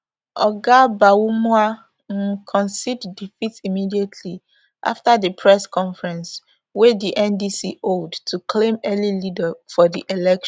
oga bawumia um concede defeat immediately afta di press conference wey di ndc hold to claim early lead for di election